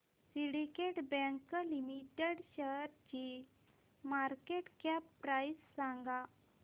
Syndicate Bank Limited शेअरची market cap price सांगा